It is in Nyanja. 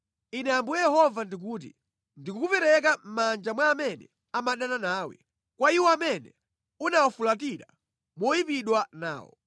“Ine Ambuye Yehova ndikuti: Ndikukupereka mʼmanja mwa amene amadana nawe, kwa iwo amene unawafulatira moyipidwa nawo.